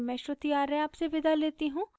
I I T Bombay से मैं श्रुति आर्य आपसे विदा लेती हूँ